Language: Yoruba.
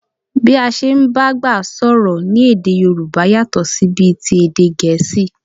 Bí a ṣe ń bá àgbà sọ̀rọ̀ ní èdè Yòrùbá yàtọ̀ sí bí ti èdè Gẹ̀ẹ́sì